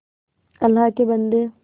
अल्लाह के बन्दे